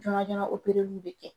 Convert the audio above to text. bi kɛ.